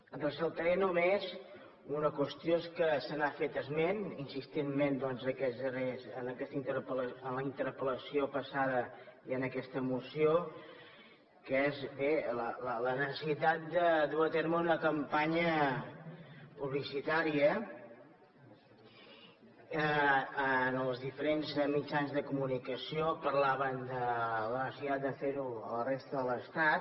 en ressaltaré només una qüestió que se n’ha fet esment insistentment en la interpel·lació passada i en aquesta moció que és bé la necessitat de dur a terme una campanya publicitària en els diferents mitjans de comunicació parlaven de la necessitat de fer ho a la resta de l’estat